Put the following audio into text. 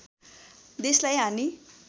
देशलाई हानि